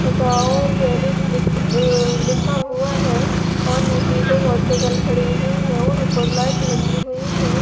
ओ palace लिख अह लिखा हुआ है और नीचे दो मोटरसाइकिल खड़ी हुई हैं और ऊपर लाइट लगी हुई हैं।